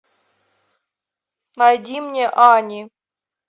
найди мне ани